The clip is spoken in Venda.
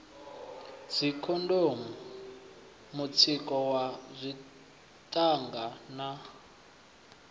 dzikhondomu mutsiko wa dzithanga u